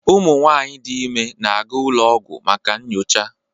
Ụmụ nwanyị dị ime na-aga ụlọ ọgwụ maka nyocha